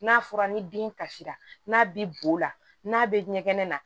N'a fɔra ni den kasira n'a bi bo la n'a be ɲɛgɛn na